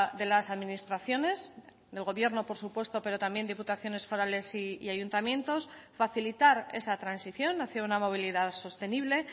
de las administraciones del gobierno por supuesto pero también diputaciones forales y ayuntamientos facilitar esa transición hacía una movilidad sostenible